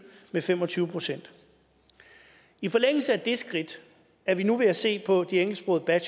med fem og tyve procent i forlængelse af det skridt er vi nu ved at se på de engelsksprogede